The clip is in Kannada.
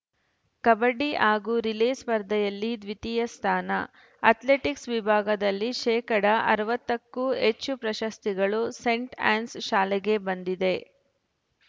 ಕಬಡ್ಡಿ ಹಾಗೂ ರಿಲೇ ಸ್ಪರ್ಧೆಯಲ್ಲಿ ದ್ವಿತೀಯ ಸ್ಥಾ ನ ಅಥ್ಲೆಟಿಕ್ಸ್‌ ವಿಭಾಗದಲ್ಲಿ ಶೇಕಡಾ ಅರವತ್ತ ಕ್ಕೂ ಹೆಚ್ಚು ಪ್ರಶಸ್ತಿಗಳು ಸೈಂಟ್‌ ಆನ್ಸ್‌ ಶಾಲೆಗೆ ಬಂದಿದೆ